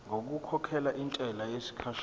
ngokukhokhela intela yesikhashana